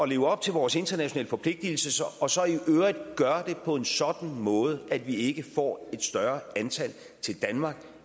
leve op til vores internationale forpligtelser og så i øvrigt gøre det på en sådan måde at vi ikke får et større antal til danmark